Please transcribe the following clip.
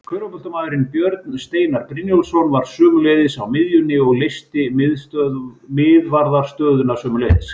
Körfuboltamaðurinn Björn Steinar Brynjólfsson var sömuleiðis á miðjunni og leysti miðvarðarstöðuna sömuleiðis.